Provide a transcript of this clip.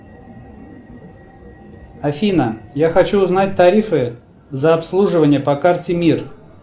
афина я хочу узнать тарифы за обслуживание по карте мир